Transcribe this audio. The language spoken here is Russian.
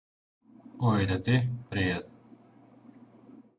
ой это ты привет